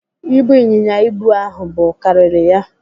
Ibu ịnyịnya ibu ahụ bu karịrị ya.